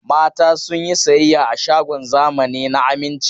Mata sun yi sayayya a shagon zamani na Aminci.